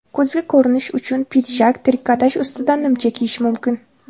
Kuzgi ko‘rinish uchun pidjak, trikotaj ustidan nimcha kiyish mumkin.